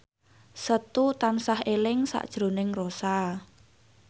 Setu tansah eling sakjroning Rossa